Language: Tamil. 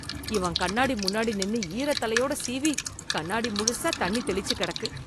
இவன் கண்ணாடி முன்னாடி நின்னு ஈர தலையோட சீவி கண்ணாடி முழுசா தண்ணி தெளிச்சு கெடக்கு.